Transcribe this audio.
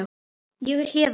Ég er héðan